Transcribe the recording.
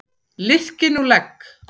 Liðkið nú legg!